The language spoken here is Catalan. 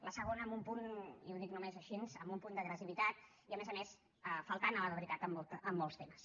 la segona amb un punt i ho dic només així amb un punt d’agressivitat i a més a més faltant a la veritat en molts temes